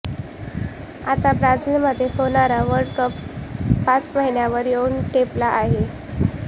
आता ब्राझिलमध्ये होणारा वर्ल्डकप पाच महिन्यांवर येऊन ठेपला आहे